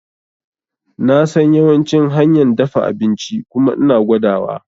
Nasan yawancin hanyan dafa abinci kuma ina gwada wa